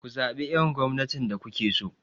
Ku zaɓi irin gwamnatin da kuke so!